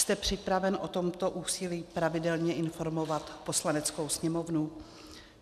Jste připraven o tomto úsilí pravidelně informovat Poslaneckou sněmovnu?